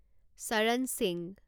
চৰণ সিংহ